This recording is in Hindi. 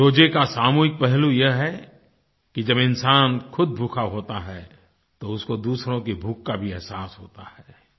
रोज़े का सामूहिक पहलू यह है कि जब इंसान खुद भूखा होता है तो उसको दूसरों की भूख का भी एहसास होता है